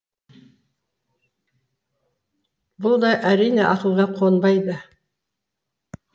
бұл да әрине ақылға қонбайды